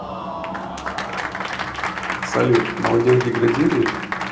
салют молодежь деградирует